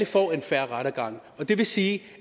får en fair rettergang det vil sige